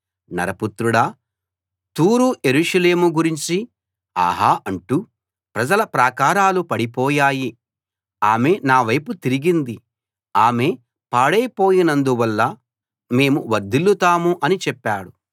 నరపుత్రుడా తూరు యెరూషలేము గురించి ఆహా అంటూ ప్రజల ప్రాకారాలు పడిపోయాయి ఆమె నావైపు తిరిగింది ఆమె పాడైపోయినందువలన మేము వర్దిల్లుతాం అని చెప్పాడు